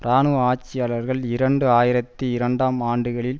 இராணுவ ஆட்சியாளர்கள் இரண்டு ஆயிரத்தி இரண்டாம் ஆண்டுகளில்